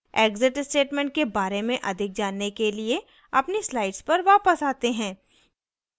exit statement के बारे में अधिक जानने के लिए अपनी slides पर वापस आते हैं